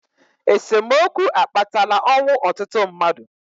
esemokwu akpatala ọnwụ ọtụtụ mmadụ